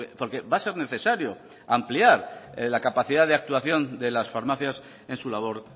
porque va a ser necesario ampliar la capacidad de actuación de las farmacias en su labor